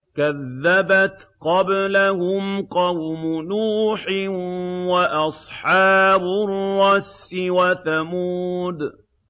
كَذَّبَتْ قَبْلَهُمْ قَوْمُ نُوحٍ وَأَصْحَابُ الرَّسِّ وَثَمُودُ